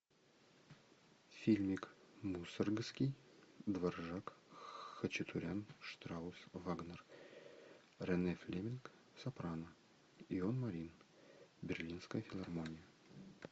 фильмик мусоргский дворжак хачатурян штраус вагнер рене флеминг сопрано ион марин берлинская филармония